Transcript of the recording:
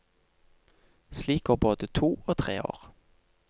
Slik går både to og tre år.